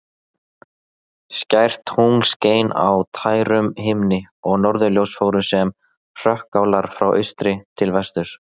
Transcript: Skært tungl skein á tærum himni og norðurljós fóru sem hrökkálar frá austri til vesturs.